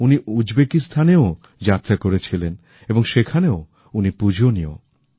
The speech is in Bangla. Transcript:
উনি উজবেকিস্তানের যাত্রাও করেছিলেন এবং সেখানেও উনি পূজনীয়